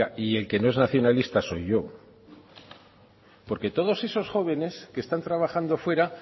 oiga y el que no es nacionalista soy yo porque todos esos jóvenes que están trabajando fuera